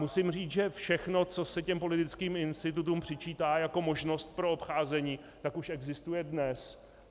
Musím říct, že všechno, co se těm politickým institutům přičítá jako možnost pro obcházení, tak už existuje dnes.